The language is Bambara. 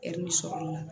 sɔrɔ la